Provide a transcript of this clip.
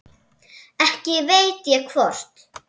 Ekki veit ég hvort